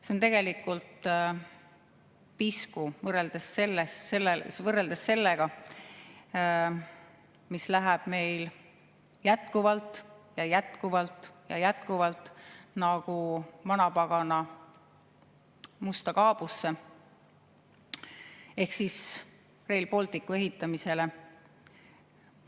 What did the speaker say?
See on tegelikult pisku võrreldes sellega, mis läheb meil jätkuvalt ja jätkuvalt nagu vanapagana musta kaabusse Rail Balticu ehitamisele.